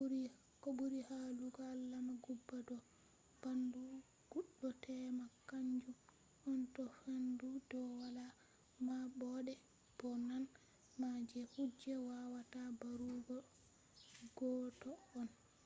ko ɓuri hollugo alama guba do ɓaandu goɗɗo tema kaanjum on to faandu do wala maɓɓode bo nane ma je kuje wawata mbarugo goɗɗo on